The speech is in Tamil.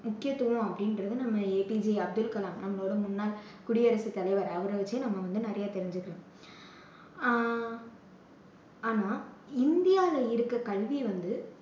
முக்கியத்துவம் அப்படின்றது நம்ம ஏபிஜே அப்துல் கலாம், நம்மளோட முன்னாள் குடியரசு தலைவர். அவரை வச்சே நம்ப வந்து நிறைய தெரிஞ்சிக்கலாம். ஆஹ் ஆனா இந்தியால இருக்க கல்வி வந்து